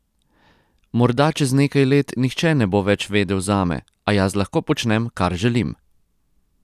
Morda čez nekaj let nihče ne bo več vedel zame, a jaz lahko počnem, kar želim!